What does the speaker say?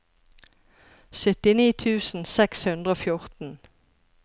syttini tusen seks hundre og fjorten